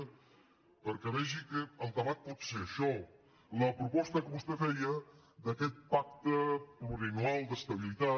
perquè vegi que el debat pot ser això la proposta que vostè feia d’aquest pacte plu·riennal d’estabilitat